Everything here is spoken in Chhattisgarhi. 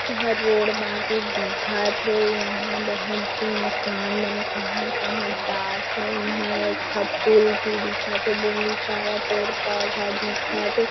यहाँ रोड मागे दिखत हे यहाँ बहुत झिन इंसान मन कहाँ-कहाँ जात हे यहाँ एक ठ पूल भी दिखत हे बहुत सारा पेड़-पौधा दिखत है।